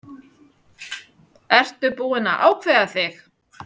Ertu búinn að ákveða þig?